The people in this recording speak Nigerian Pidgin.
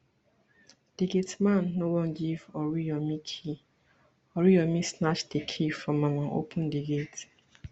di gateman no wan give oriyomi key oriyomi snatch di key from am and open di gate